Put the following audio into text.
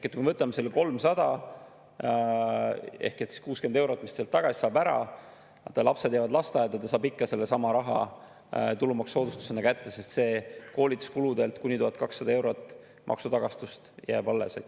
Kui me võtame ära selle 300, ehk 60 eurot, mis sealt tagasi saab, lapsed jäävad lasteaeda, ta saab ikka sellesama raha tulumaksusoodustusena kätte, sest koolituskuludelt kuni 1200 eurot maksutagastust jääb alles.